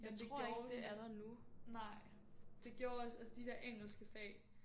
Men det gjorde det at nej. Det gjorde også altså de der engelske fag